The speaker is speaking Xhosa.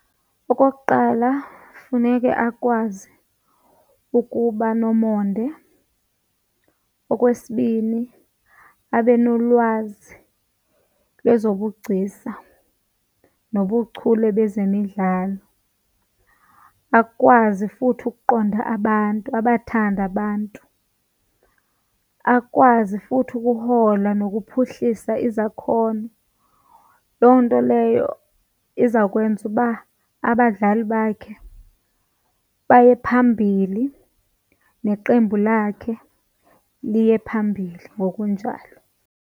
Okokuqala funeke akwazi ukuba nomonde. Okwesibini abe nolwazi lwezobugcisa nobuchule lezemidlalo, akwazi futhi ukuqonda abantu abathande abantu. Akwazi futhi ukuhola nokuphuhlisa izakhono. Loo nto leyo eyo izawukwenza uba abadlali bakhe baye phambili, neqembu lakhe liye phambili ngokunjalo.